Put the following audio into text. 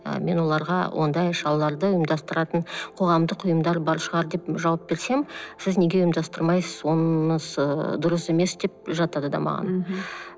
ы мен оларға ондай шараларды ұйымдастыратын қоғамдық ұйымдар бар шығар деп жауап берсем сіз неге ұйымдастырмайсыз онысы дұрыс емес деп жатады да маған мхм